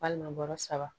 Walima bɔrɔ saba